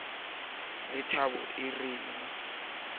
le thabo e renang pelong